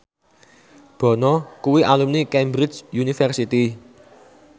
Bono kuwi alumni Cambridge University